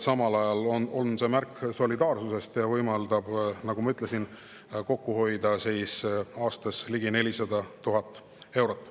Samal ajal on see märk solidaarsusest ja võimaldab, nagu ma ütlesin, aastas kokku hoida ligi 400 000 eurot.